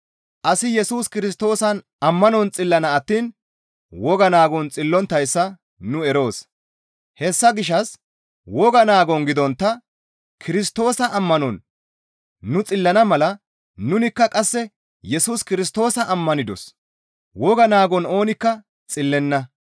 Asi Yesus Kirstoosan ammanon xillana attiin woga naagon xillonttayssa nu eroos; hessa gishshas woga naagon gidontta Kirstoosa ammanon nu xillana mala nunikka qasse Yesus Kirstoosa ammanidos; woga naagon oonikka xillenna.